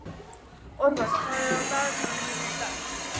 Orvar, hvað er á dagatalinu mínu í dag?